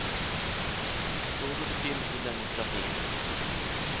Så går det till i demokratin.